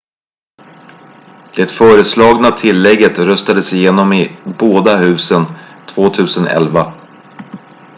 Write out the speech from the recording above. det föreslagna tillägget röstades igenom i båda husen 2011